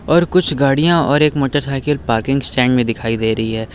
और कुछ गाड़ियां और एक मोटरसाइकिल पार्किंग स्टैंड में दिखाई दे रही है।